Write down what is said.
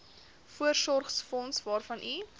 voorsorgsfonds waarvan u